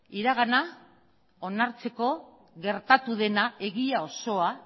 iragana onartzeko gertatu dena egia osoa